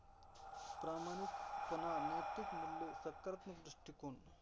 प्रामाणिकपणा, नैतिक मूल्य, सकारात्मक दृष्टीकोन.